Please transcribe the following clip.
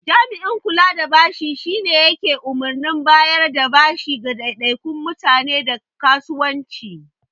Jami'in kula da bashi shine yake umarnin bayarda bashi ga ɗaiɗaikun mutane da kasuwanci.